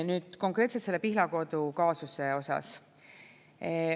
Nüüd konkreetselt selle Pihlakodu kaasuse osas.